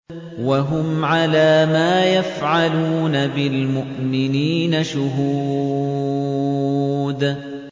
وَهُمْ عَلَىٰ مَا يَفْعَلُونَ بِالْمُؤْمِنِينَ شُهُودٌ